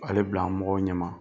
B'ale bila mɔgɔw ɲɛma.